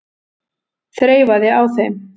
Þreifaði á þeim.